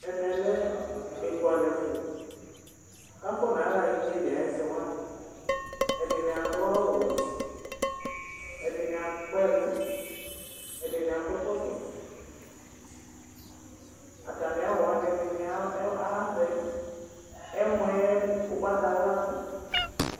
ɛmɛ lɛ ekʋalɛ fu, ku afɔ naɣa igneli ayu ɛsɛ wʋani, ɛdini adu awu wɛ, ɛdini Akpa ɛlu, ɛdini akɔ ɛkɔtɔ, ata mi awu wʋani ɛdini avɛ, ɛmɔɛ ugbata wla du